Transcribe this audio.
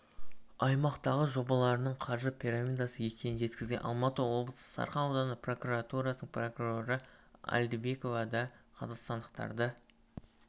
аймақтағы жобаларының қаржы пирамидасы екенін жеткізген алматы облысы сарқан ауданы прокуратурасының прокуроры әлдибекова да қазақстандықтарды